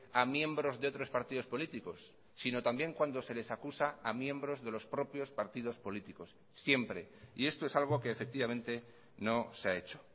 a miembros de otros partidos políticos sino también cuando se les acusa a miembros de los propios partidos políticos siempre y esto es algo que efectivamente no se ha hecho